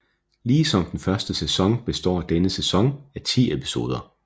Ligesom den første sæson består denne sæson af ti episoder